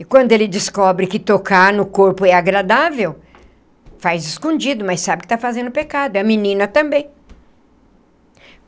E quando ele descobre que tocar no corpo é agradável, faz escondido, mas sabe que está fazendo pecado, e a menina também.